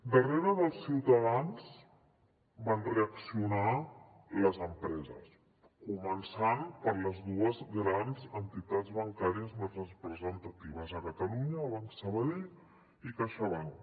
darrere dels ciutadans van reaccionar les empreses començant per les dues grans entitats bancàries més representatives a catalunya banc sabadell i caixabank